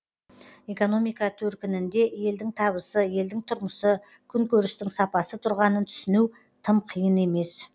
экономика төркінінде елдің табысы елдің тұрмысы күнкөрістің сапасы тұрғанын түсіну тым қиын емес